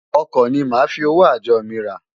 Ọkọ ni màá fi owó àjọ mi rà.